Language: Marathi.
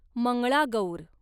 मंगळागौर